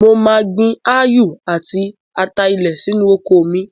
Mo máa gbin ááyù àti ata-ilẹ̀ sínú oko mi.